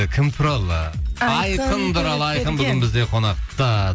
кім туралы айқын туралы айқын бүгін бізде қонақта